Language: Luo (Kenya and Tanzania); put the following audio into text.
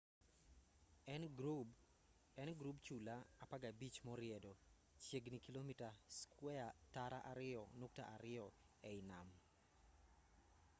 en grub chula 15 moriedo chiegini kilomita squeya tara ariyo nukta ariyo ei nam